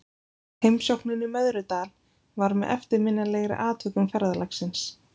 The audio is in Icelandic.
Heimsóknin í Möðrudal var með eftirminnilegri atvikum ferðalagsins.